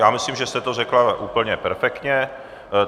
Já myslím, že jste to řekla úplně perfektně.